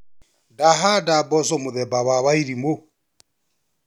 Ndahanda mboco mũthemba wa wairimũ.